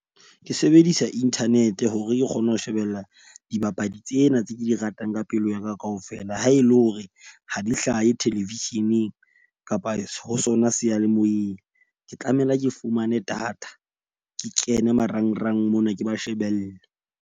Ke sebedisa internet hore ke kgone ho shebella dibapadi tsena tse ke di ratang ka pelo yaka kaofela. Ha e le hore ha di hlahe television-eng kapa ho sona seyalemoyeng. Ke tlamela ke fumane data ke kene marangrang mona, ke ba shebelle.